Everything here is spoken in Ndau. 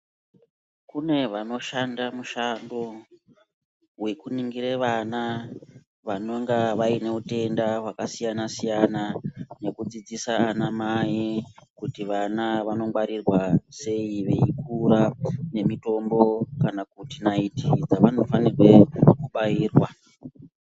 Kune vanoshanda mushando wekuningire vana vanenga vaine utenda hwakasiyana-siyana, nekudzidzisa vanamai kuti vana vanongwarirwa sei veikura, nemitombo kana kuti nayiti dzavanofanike kubairwa.